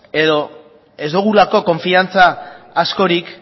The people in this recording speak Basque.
edo ez dugulako konfiantza askorik